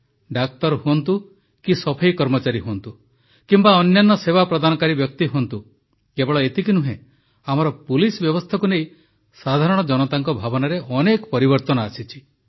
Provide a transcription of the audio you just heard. ଡାକ୍ତର ହୁଅନ୍ତୁ କି ସଫେଇ କର୍ମଚାରୀ ହୁଅନ୍ତୁ କିମ୍ବା ଅନ୍ୟାନ୍ୟ ସେବା ପ୍ରଦାନକାରୀ ବ୍ୟକ୍ତି ହୁଅନ୍ତୁ କେବଳ ଏତିକି ନୁହେଁ ଆମର ପୁଲିସ ବ୍ୟବସ୍ଥାକୁ ନେଇ ସାଧାରଣ ଜନତାଙ୍କ ଭାବନାରେ ଅନେକ ପରିବର୍ତ୍ତନ ଆସିଛି